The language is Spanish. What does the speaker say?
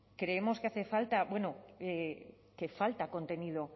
creemos que hace falta bueno que falta contenido